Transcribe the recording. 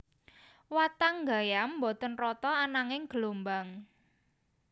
Watang gayam boten rata ananging gelombang